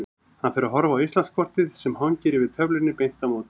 Hann fer að horfa á Íslandskortið sem hangir yfir töflunni beint á móti.